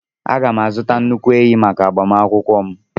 Aga m azụta nnukwu ehi maka agbamakwụkwọ m.